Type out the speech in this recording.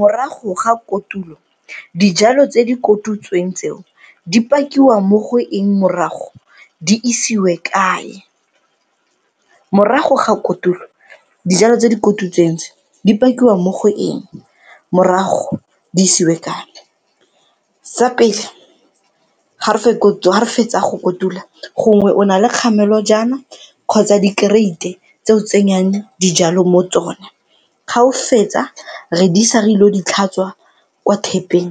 Morago ga kotulo dijalo tse di kotutsweng tseo di pakiwa mo go eng morago, di isiwe kae? Morago ga kotulo dijalo tse di kotutsweng tse di pakiwa mo go eng, morago di isiwe kae? Sa pele, ga re fetsa go kotula gongwe o na le kgamelojana kgotsa dikereite tse o tsenyang dijalo mo tsone ga o fetsa re di isa re ilo di tlhatswa kwa tap-eng